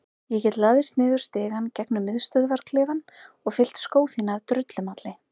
Ég get læðst niður stigann gegnum miðstöðvarklefann og fyllt skó þína af drullumalli.